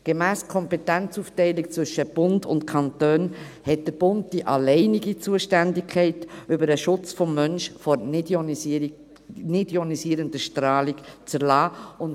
Gemäss Kompetenzaufteilung zwischen Bund und Kantonen hat der Bund die alleinige Zuständigkeit, Vorschriften über den Schutz der Menschen vor nichtionisierender Strahlung zu erlassen;